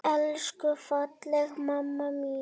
Elsku fallega mamma mín!